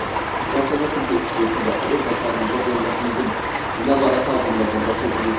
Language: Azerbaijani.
Məhkəmə tibbi ekspertizası öz vətənimizdə dövlətimizin nəzarəti altında burda keçirilsin.